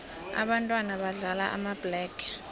ababntwana badlala amabhlege